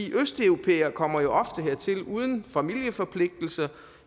østeuropæere kommer jo ofte hertil uden familieforpligtelser